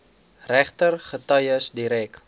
regter getuies direk